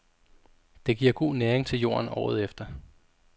Det giver god næring til jorden året efter.